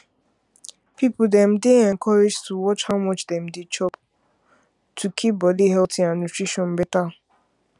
people dem dey encouraged to watch how much dem dey chop to keep body body healthy and nutrition better